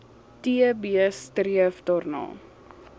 tb streef daarna